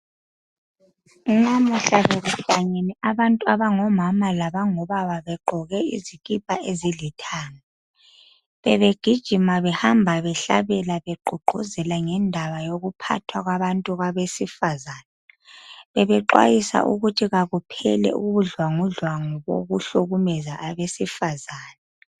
namuhla bekulangenen abantu abangomama labo babab begqoke izikipa ezilithanga bebegijima behamba behlabela begqugquzela ngendaba yokuphathwa kwabantu abesifazana bebexwayisa ukuthi akuphele ubudlwangudlwangu kwabantu abesifazane